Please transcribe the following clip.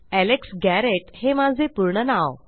Alex Garrett हे माझे पूर्ण नाव